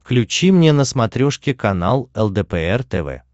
включи мне на смотрешке канал лдпр тв